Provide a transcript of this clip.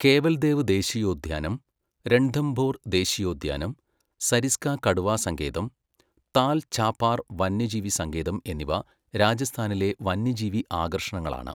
കേവൽദേവ് ദേശീയോദ്യാനം, രൺഥംഭോർ ദേശീയോദ്യാനം, സരിസ്ക കടുവാസങ്കേതം, താൽ ഛാപാർ വന്യജീവി സങ്കേതം എന്നിവ രാജസ്ഥാനിലെ വന്യജീവി ആകർഷണങ്ങളാണ്.